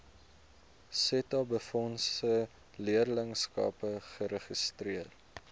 setabefondse leerlingskappe geregistreer